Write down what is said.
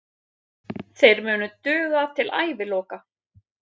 Þeir munu duga til æviloka.